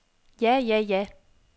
ja ja ja